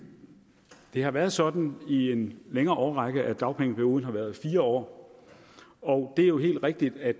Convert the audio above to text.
har været sådan i en længere årrække at dagpengeperioden har været fire år og det er jo helt rigtigt at